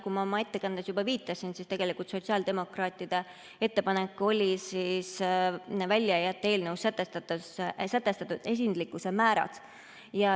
Nii nagu ma oma ettekandes juba viitasin, tegelikult oli sotsiaaldemokraatide ettepanek välja jätta eelnõus sätestatud esinduslikkuse määrad.